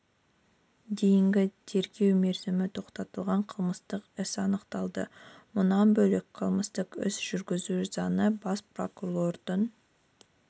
дейінгі тергеу мерзімі тоқтатылған қылмыстық іс анықталды мұнан бөлек қылмыстық іс жүргізу заңы бас прокурордың